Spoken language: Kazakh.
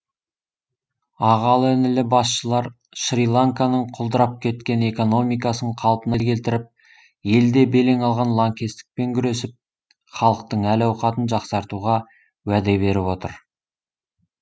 ағалы інілі басшылар шри ланканың құлдырап кеткен экономикасын қалпына келтіріп елде белең алған лаңкестікпен күресіп халықтың әл ауқатын жақсартуға уәде беріп отыр